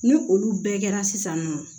Ni olu bɛɛ kɛra sisan nɔ